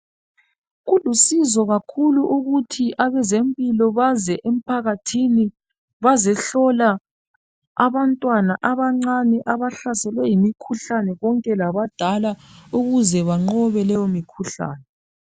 Kulusizo kakhulu ukuthi abezempilo baze impakathini bazihlola abantwana abancane abahlaselwe yimikhuhlane kwonke labadala ukuze banqcobe leyo mikhuhlane